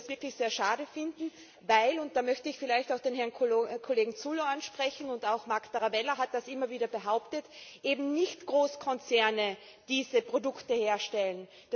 Ich würde das wirklich sehr schade finden, weil und da möchte ich vielleicht auch den Herrn Kollegen Zullo ansprechen, und auch Marc Tarabella hat das immer wieder behauptet eben nicht Großkonzerne diese Produkte herstellen.